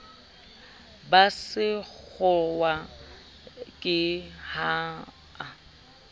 ba sekgowa ke ha a